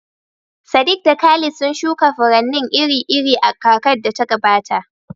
Sadiq da Khalid sun shuka furanni iri-iri a kakar da ta gabata.